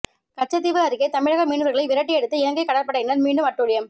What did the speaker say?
கச்சத்தீவு அருகே தமிழக மீனவர்களை விரட்டியடித்து இலங்கை கடற்படையினர் மீண்டும் அட்டூழியம்